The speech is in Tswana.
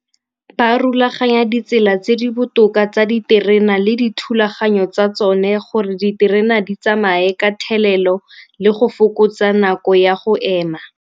Ba rulaganya ditsela tse di botoka tsa diterena le dithulaganyo tsa tsone gore diterena di tsamaye ka thelelo le go fokotsa nako ya go ema.